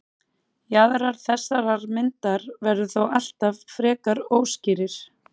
Jaðrar þessarar myndar verða þó alltaf frekar óskýrir.